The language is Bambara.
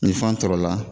Ni fan tɔɔrɔla